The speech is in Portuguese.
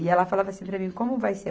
E ela falava assim para mim, como vai ser?